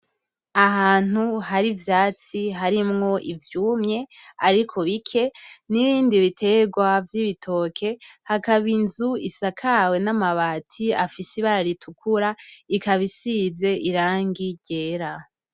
Ahantu hari ivyatsi harimwo ivyumye ariko bike nibindi biterwa vyibitoke hakaba inzu isakawe namabati afise ibara ritukura ikaba isize irangi ryera.